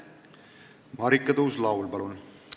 Marika Tuus-Laul, palun!